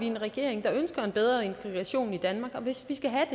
en regering der ønsker en bedre integration i danmark og hvis vi skal have